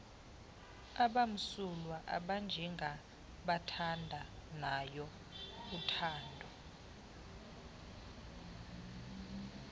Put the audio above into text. abamsulwa abanjengaabathandanayo uthando